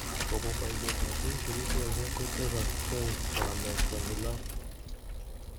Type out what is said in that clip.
Kobun boisietab tuguk chekigolse kotesoksei kolet konyil oeng